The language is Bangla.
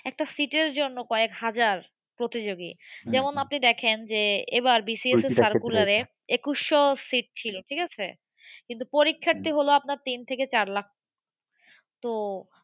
একটা seat এর জন্য কয়েক হাজার প্রতিযোগী যেমন আপনি দেখেন যে এবার BCS এর circular এ একুশশো seat ছিল। ঠিক আছে কিন্তু পরীক্ষার্থী হলো আপনার তিন থেকে চার লাখ। তো